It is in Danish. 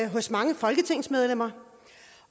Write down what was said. hos mange folketingsmedlemmer